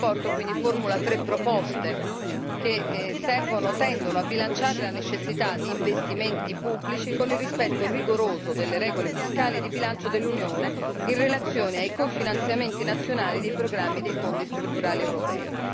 La relazione quindi formula tre proposte che tendono a bilanciare la necessità di investimenti pubblici con il rispetto rigoroso delle regole fiscali di bilancio dell'Unione in relazione ai cofinanziamenti nazionali dei programmi dei Fondi strutturali europei.